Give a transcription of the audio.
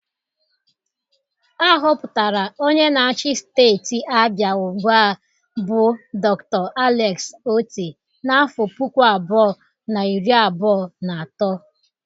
A họpụtara onye na-achi Steeti Abia ugbụa bụ Dr. Alex Otti n'afọ puku abụọ na iri abụọ na atọ.